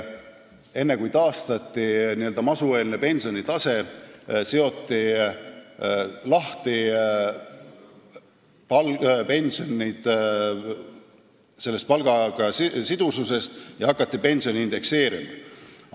Enne kui taastati n-ö masueelne pensionitase, seoti pensionid palgast lahti ja hakati pensione indekseerima.